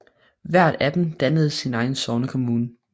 Hvert af dem dannede sin egen sognekommune